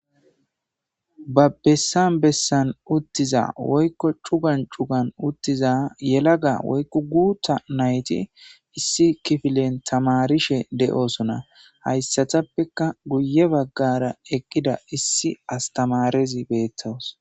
Babbessan bessan uttiza woykko cugan cugan uttiza yelaga woykku guutta nayti issi kifilen tamarishe de7osona hayssatappeka guye baggara ekkida issi astamarezi beettowos.